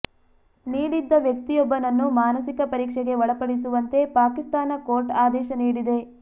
ನೀಡಿದ್ದ ವ್ಯಕ್ತಿಯೊಬ್ಬನನ್ನು ಮಾನಸಿಕ ಪರೀಕ್ಷೆಗೆ ಒಳಪಡಿಸುವಂತೆ ಪಾಕಿಸ್ತಾನ ಕೋರ್ಟ್ ಆದೇಶ ನೀಡಿದೆ